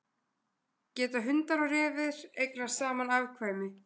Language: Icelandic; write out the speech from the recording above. Geta hundar og refir eignast saman afkvæmi?